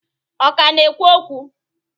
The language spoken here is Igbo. Ọ ka na-ekwu okwu?